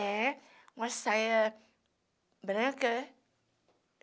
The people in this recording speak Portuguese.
É, uma saia branca, né?